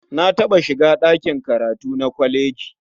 Na taɓa shiga ɗakin karatu na kwaleji.